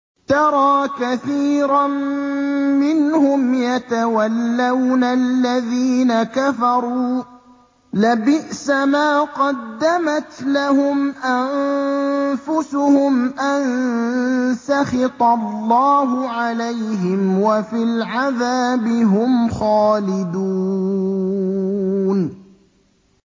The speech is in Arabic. تَرَىٰ كَثِيرًا مِّنْهُمْ يَتَوَلَّوْنَ الَّذِينَ كَفَرُوا ۚ لَبِئْسَ مَا قَدَّمَتْ لَهُمْ أَنفُسُهُمْ أَن سَخِطَ اللَّهُ عَلَيْهِمْ وَفِي الْعَذَابِ هُمْ خَالِدُونَ